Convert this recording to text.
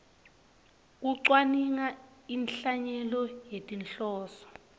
kucwaninga inhlanyelo ngetinhloso